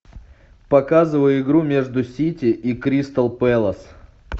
показывай игру между сити и кристал пэлас